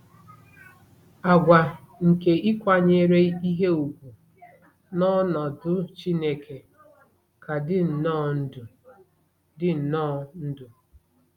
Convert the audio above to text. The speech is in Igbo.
Àgwà nke ịkwanyere ihe ùgwù n'ọnọdụ Chineke ka dị nnọọ ndụ dị nnọọ ndụ.